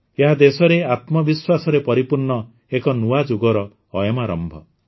ଏହା ଦେଶରେ ଆତ୍ମବିଶ୍ୱାସରେ ପରିପୂର୍ଣ୍ଣ ଏକ ନୂଆ ଯୁଗର ଅୟମାରମ୍ଭ